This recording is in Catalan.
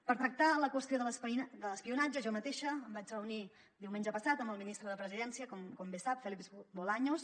per tractar la qüestió de l’espionatge jo mateixa em vaig reunir diumenge passat amb el ministre de la presidència com bé sap félix bolaños